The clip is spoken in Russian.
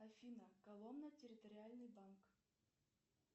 афина коломна территориальный банк